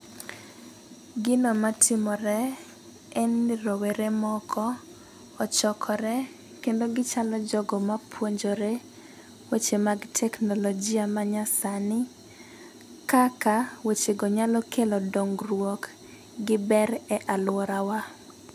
Gino matimore e ni rowere moko ochokore kendo gichalo jogo mapuonjore weche mag teknolojia ma nyasani kaka wechego nyalo kelo dongruok gi ber e aluora wa.